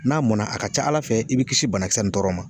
N'a mɔnna a ka ca ala fɛ i bi kisi banakisɛ i bi banasɛs nin ma